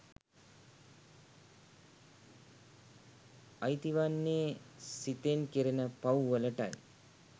අයිති වන්නේ සිතෙන් කෙරෙන පව්වලටයි.